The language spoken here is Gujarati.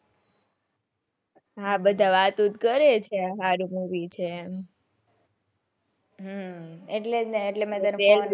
હા બધા વાતો તો કરે છે હારું movie છે ને હમ એટલે તો મેં તને phone કર્યો.